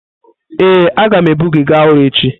Ee, agam ebu gị gaa ọrụ echi.